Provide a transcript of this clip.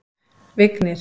Vignir